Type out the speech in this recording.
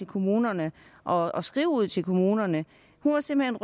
kommunerne og og skrive ud til kommunerne hun var simpelt